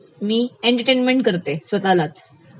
मी entertainment करते स्वतःलाच